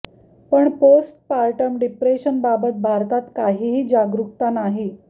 पण postpartum depression बाबत भारतात काहीही जागरूकता नाही